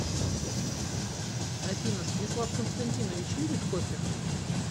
афина станислав константинович любит кофе